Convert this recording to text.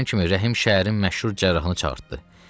Evə çatan kimi Rəhim şəhərin məşhur cərrahını çağırdı.